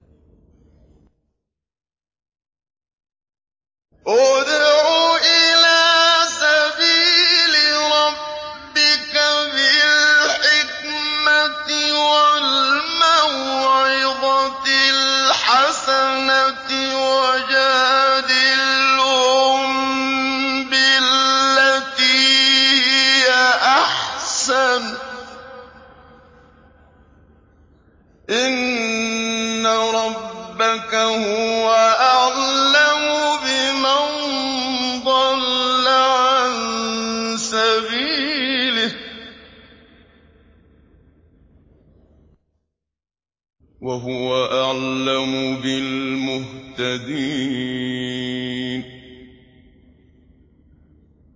ادْعُ إِلَىٰ سَبِيلِ رَبِّكَ بِالْحِكْمَةِ وَالْمَوْعِظَةِ الْحَسَنَةِ ۖ وَجَادِلْهُم بِالَّتِي هِيَ أَحْسَنُ ۚ إِنَّ رَبَّكَ هُوَ أَعْلَمُ بِمَن ضَلَّ عَن سَبِيلِهِ ۖ وَهُوَ أَعْلَمُ بِالْمُهْتَدِينَ